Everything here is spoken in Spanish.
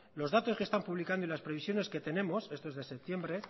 los datos que están publicando y las previsiones que tenemos esto es de septiembre